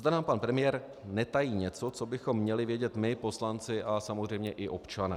Zda nám pan premiér netají něco, co bychom měli vědět my poslanci a samozřejmě i občané.